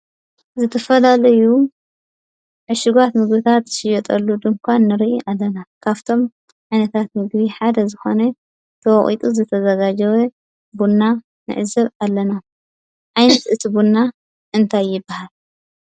ዝተፈላለዩ ዕሹጋት ምግብታት ዝሽየጠሉ ድንዃን ንርኢ ኣለና፡፡ ካፍቶም ዓይነታት ምግቢ ሓደ ዝኾነ ተወቒጡ ዝተዘጋጀወ ቡና ንዕዘብ ኣለና፡፡ ዓይነት እቲ ቡና እንታይ ይበሃል?